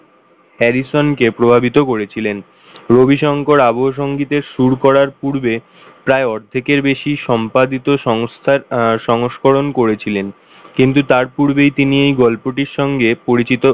Harrison কে প্রাভাবিত করেছিলেন রবিশঙ্কর আবহসঙ্গীতে সুর করার পূর্বে প্রায় অর্ধেকের বেশি সম্পাদিত সংস্থার আহ সংস্করণ করেছিলেন কিন্তু তার পূর্বেই তিনি এই গল্পটির সঙ্গে পরিচিত,